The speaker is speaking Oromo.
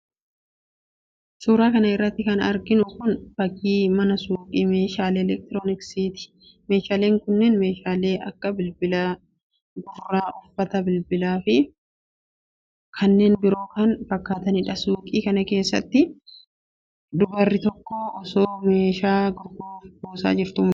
Suura kana irratti kan arginu kun, fakkii mana suuqii meeshaalee elektrooniksiiti. Meeshaaleen kunneen meeshaalee akka:bilbilaa, bilbila gurraa ,uffata bilbilaa fi kanneen biroo kana fakkaataniidha. Suuqii kana keessatti ,dubarri tokkoo osoo meeshaa gurguruuf buusaa jirtuu mul'atti.